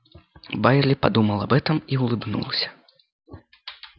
байерли подумал об этом и улыбнулся